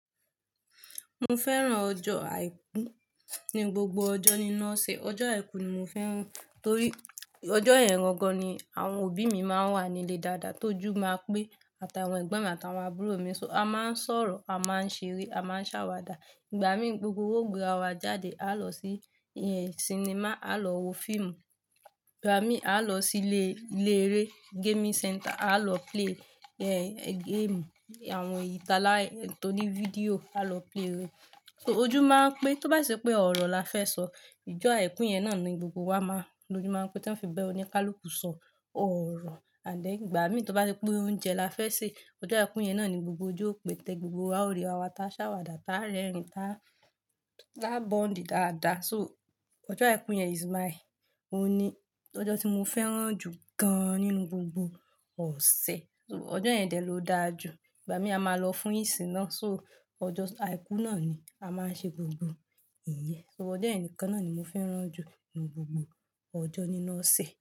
Mo fẹ́ràn ọjọ́ àìkú. Ní gbogbo ọjọ́ ninu oṣe, ọjọ́ àìkú ni mo fẹ́ràn torí ọjọ́ yẹn gangan ni àwọn òbí mi máa ń wà nílé dáadáa. Tójú máa pẹ́ àtàwọn ẹ̀gbọ́n mi àtàwọn àbúrò mi. So a máa ń sọ̀rọ̀, a máa ń ṣeré, a máa ń ṣàwàdà. Ìgbà mí, gbogbo wa o gberà wa jáde. A lọ sí cinema, a lọ wo fíìmù. Ìgbà mí, a lọ sílé ilé eré, gaming center, a lọ play game, àwọn ìtala tó ní fídíò, a lọ play rẹ̀. So ojú máa pẹ́, tó bá si ṣe pé ọ̀rọ̀ la fẹ́ sọ, ijọ́ àìkú yẹn náà ni gbogbo wa máa lójú máa ń pé tí wọ́n fi ba oníkálúkù sọ ọ̀rọ̀. Ànd then Ìgbà mí, tó bá ṣe pé oúnjẹ la fẹ́ sè, ọjọ́ àìkú yẹn náà ni gbogbo ojú ó pé gbogbo wa ó rí ara wa tá ṣàwàdà, tá rẹ́rìn-ín, tá ta bond dáadáa. So ọjọ́ àìkú yẹn is my owuni Ọjọ́ tí mo fẹ́ràn jù gán nínú gbogbo ọ̀sẹ̀. So ọjọ́ yẹn dẹ̀ ló dáa jù. Ìgbà mí a máa lọ fún ìsìn náà. So ọjọ́ àìkú náà ni a máa ń ṣe gbogbo ìyẹ́. So ọjọ́ yen nikán naá ni mo fẹ́ràn jù nínú gbogbo ọjọ́ ninu oṣe.